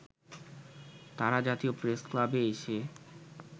তারা জাতীয় প্রেসক্লাবে এসে